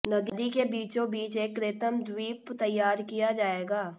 नदी के बीचोंबीच एक कृत्रिम द्वीप तैयार किया जाएगा